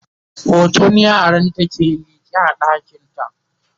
hoton yaranta ke liƙe a ɗakinta